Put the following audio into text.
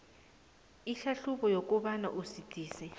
ihlahlubo yokobana usidisi